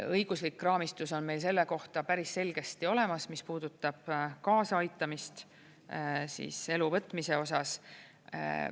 Õiguslik raamistus on meil selle kohta päris selgesti olemas, mis puudutab kaasaaitamist endalt elu võtmise osas.